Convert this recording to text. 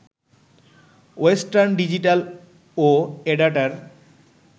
western Digital ও এডাটার